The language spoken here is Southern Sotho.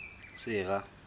sera